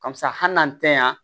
Karisa hali n'an tɛ yan